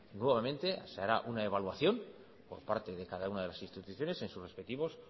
nuevamente se hará una evaluación por parte de cada una de las instituciones en sus respectivos